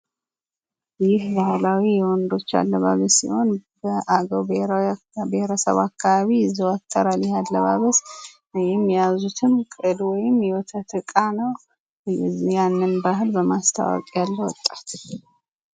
ይህ ባህላዊ የወንዶች አለባበስ ሲሆን የአገው ብሄረሰብ አካባቢ ይዘወተራል ።ይህ አለባበስ ይህም የያዙትም ቅል ወይም ወተት ያንን ባህል በማስተዋወቅ ያለው ወጣት